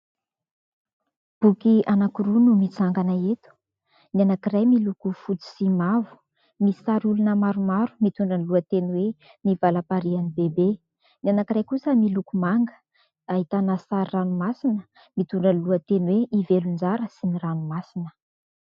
Boky anankiroa no mitsangana eto : ny anankiray miloko fotsy sy mavo , misy sary olona maromaro mitondra ny lohateny hoe "ny valamparian'i Bebe" , ny anankiray kosa miloko manga ahitana sary ranomasina mitondra ny lohateny hoe " I Velonjara sy ny ranomasina".